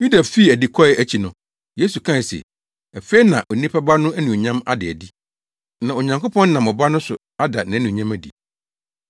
Yuda fii adi kɔe akyi no, Yesu kae se, “Afei na Onipa Ba no anuonyam ada adi; na Onyankopɔn nam Ɔba no so ada nʼanuonyam adi.